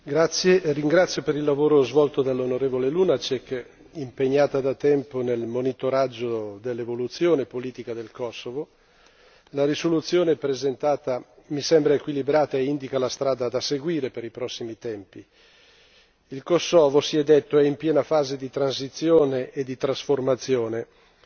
Signor Presidente, onorevoli colleghi, ringrazio, per il lavoro svolto, l'onorevole Lunacek, impegnata da tempo nel monitoraggio dell'evoluzione politica del Kosovo. La risoluzione presentata mi sembra equilibrata e indica la strada da seguire per i prossimi tempi. Il Kosovo, si è detto, è in piena fase di transizione e di trasformazione